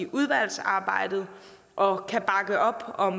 udvalgsarbejdet og kan bakke op op